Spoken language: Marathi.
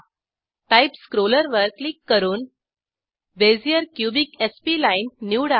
टाइप स्क्रोलवर क्लिक करून बेझियर क्युबिक स्प्लाईन निवडा